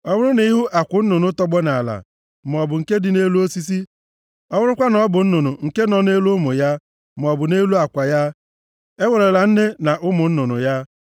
Ọ bụrụ na ị hụ akwụ nnụnụ tọgbọ nʼala, maọbụ nke dị nʼelu osisi, ọ bụrụkwa na ọ bụ nnụnụ nke nọ nʼelu ụmụ ya, maọbụ nʼelu akwa ya, ewerela nne na ụmụ nnụnụ ya.